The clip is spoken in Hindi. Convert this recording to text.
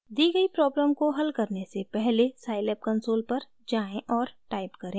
दी गयी प्रॉब्लम को हल करने से पहले scilab कंसोल पर जाएँ और टाइप करें: